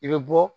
I bɛ bɔ